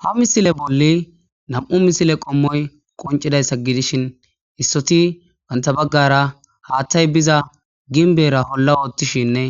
Ha misile bolli nam'u misile qommoy qoncidayssa gidishin issoti bantha baggara haattay biza ginbeera holla oottishinne